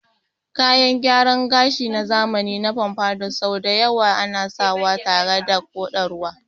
Kayan gyaran gashi na zamani na pompadour sau da yawa ana sawa tare da koɗarwa.